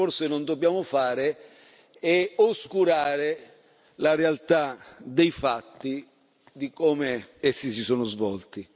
Quello che forse non dobbiamo fare è oscurare la realtà dei fatti, di come essi si sono svolti.